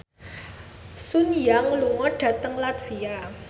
Sun Yang lunga dhateng latvia